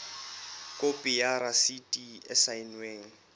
khopi ya rasiti e saennweng